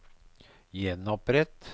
gjenopprett